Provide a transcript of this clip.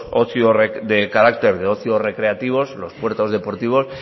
ocio de carácter de ocio recreativos los puertos deportivos